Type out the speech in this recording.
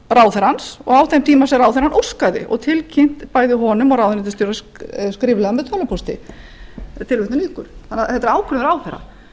á þeim tíma sem ráðherrann óskaði og tilkynnt bæði honum og ráðuneytisstjóra skriflega með tölvupósti tilvitnun lýkur þannig að þetta er ákvörðun ráðherra